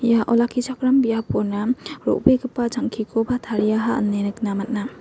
ia olakkichakram biapona ro·begipa jang·kikoba tariaha ine nikna man·a.